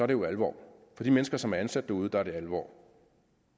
det jo alvor for de mennesker som er ansat derude er det alvor